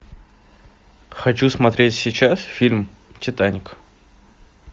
хочу смотреть сейчас фильм титаник